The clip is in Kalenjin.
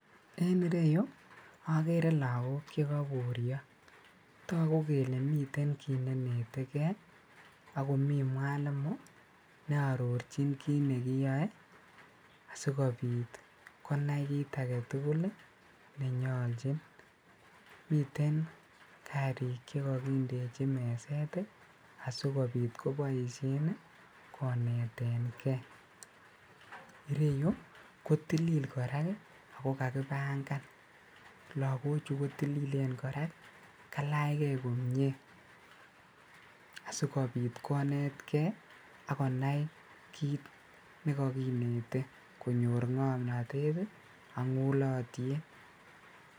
En ireyu okere lagok chekoburio toguk kele mi kii nenetekee ii ak komi mwalimu ne ororjin kinekiyoe asikobit konai kit agetugul nenyoljin, miten karik chekokindeji meset ii asikobit koboisien konetengee ,ireyu kotilil ako kakibangan ,lagochu kotililen korak ako kalach gee komie asikobit konetkee ak konai kit nekokinete konyor ngomnotet ak ngulotiet.